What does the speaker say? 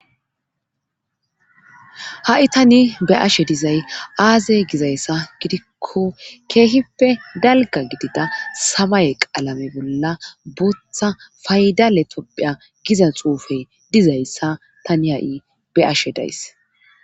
ha7i tani be ashe dizay aaze gizayssa gidikko keehippe dalga gidida samay qaalame bolla bootha faydale topphiya giza xuufey dizayssa tani ha7i be ashe days